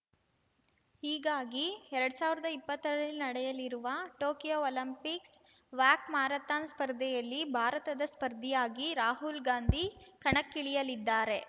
ಹೀಗಾಗಿ ಎರಡ್ ಸಾವಿರ್ದಾ ಇಪ್ಪತ್ತರಲ್ಲಿ ನಡೆಯಲಿರುವ ಟೋಕಿಯೋ ಒಲಿಂಪಿಕ್ಸ್‌ ವಾಕ್‌ ಮ್ಯಾರಥಾನ್‌ ಸ್ಪರ್ಧೆಯಲ್ಲಿ ಭಾರತದ ಸ್ಪರ್ಧಿಯಾಗಿ ರಾಹುಲ್‌ ಗಾಂಧಿ ಕಣಕ್ಕಿಳಿಯಲಿದ್ದಾರೆ